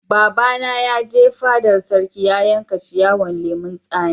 Baba na ya je fadar sarki ya yanka ciyawan lemun sami.